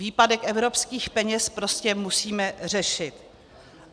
Výpadek evropských peněz prostě musíme řešit.